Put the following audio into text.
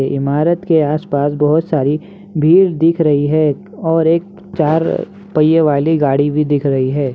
ये इमारत के आस-पास बहोत सारी भीड़ दिख रही है और एक चार पहिए वाली गाड़ी भी दिख रही है।